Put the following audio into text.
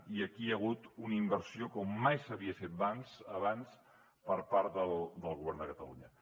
i aquí hi ha hagut una inversió com mai s’havia fet abans per part del govern de catalunya